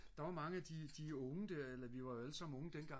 der var mange af de unge der eller vi var jo allesammen unge dengang